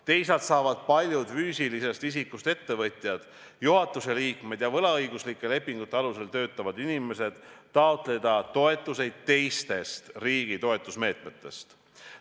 Teisalt saavad paljud füüsilisest isikust ettevõtjad, juhatuse liikmed ja võlaõiguslike lepingute alusel töötavad inimesed taotleda toetusi teistest riigi toetusmeetmetest.